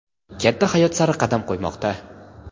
katta hayot sari qadam qo‘ymoqda.